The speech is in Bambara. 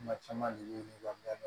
Kuma caman dugu in kɔnɔ yan